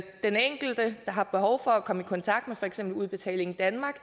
den enkelte der har behov for at komme i kontakt med for eksempel udbetaling danmark